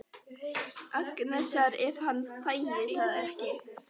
Agnesar ef hann þægi það ekki?